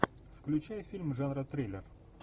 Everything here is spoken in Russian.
включай фильм жанра триллер